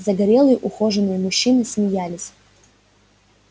загорелые ухоженные мужчины смеялись